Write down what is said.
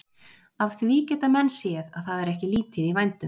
Af því geta menn séð að það er ekki lítið í vændum.